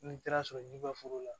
N'i taara sɔrɔ jiba foro la